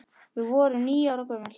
Við vorum níu ára gömul.